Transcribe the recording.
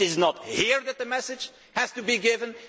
It is not here that the message has to be given